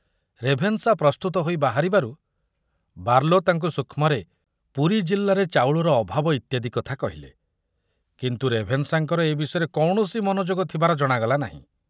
Ravenshaw ପ୍ରସ୍ତୁତ ହୋଇ ବାହାରିବାରୁ ବାର୍ଲୋ ତାଙ୍କୁ ସୂକ୍ଷ୍ମରେ ପୁରୀ ଜିଲ୍ଲାରେ ଚାଉଳର ଅଭାବ ଇତ୍ୟାଦି କଥା କହିଲେ, କିନ୍ତୁ ରେଭେନ୍ସାଙ୍କର ଏ ବିଷୟରେ କୌଣସି ମନୋଯୋଗ ଥିବାର ଜଣାଗଲା ନାହିଁ।